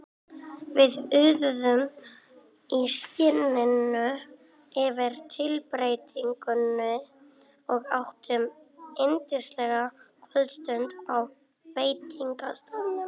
Við iðuðum í skinninu yfir tilbreytingunni og áttum yndislega kvöldstund á veitingastaðnum.